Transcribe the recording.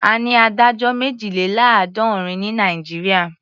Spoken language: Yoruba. A ní adájọ́ méjìléláàádọ́rin ní Nàìjíríà.